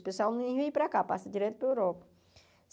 O pessoal nem vem para cá, passa direto para a Europa.